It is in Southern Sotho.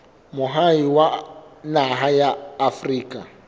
moahi wa naha ya afrika